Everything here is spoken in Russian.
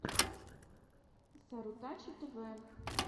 сарутачи тэвэ